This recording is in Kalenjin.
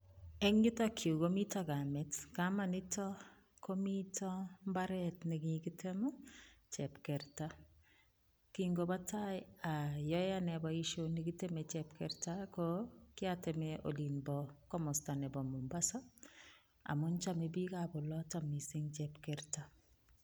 Eng' yutok yuu komii komitok kamet, kamanito komito mbaret nekikitem chepkerta, king'obotai oyoe anee boishoni kiteme chepkerta ko kiateme olimbo komosto nebo Mombasa amun chome biikab oloton mising chepkerta.